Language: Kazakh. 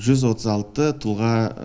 жүз отыз алты тұлға